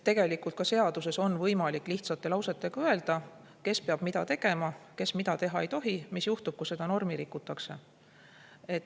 Tegelikult ka seaduses on võimalik lihtsate lausetega öelda, kes peab mida tegema, kes mida teha ei tohi, mis juhtub, kui seda normi rikutakse.